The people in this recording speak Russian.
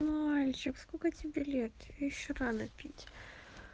мальчик сколько тебе лет тебе ещё рано пить